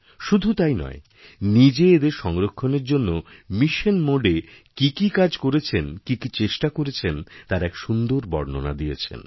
শুধু তাই নয় নিজে এদের সংরক্ষণের জন্য মিশন মোড এ কি কি কাজ করেছেন কি কিচেষ্টা করেছেন তার এক সুন্দর বর্ণনা দিয়েছেন